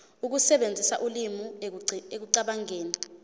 ukusebenzisa ulimi ekucabangeni